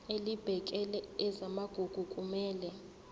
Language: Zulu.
elibhekele ezamagugu kumele